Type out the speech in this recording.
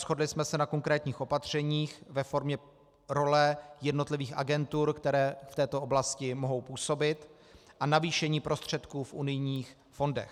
Shodli jsme se na konkrétních opatřeních ve formě role jednotlivých agentur, které v této oblasti mohou působit, a navýšení prostředků v unijních fondech.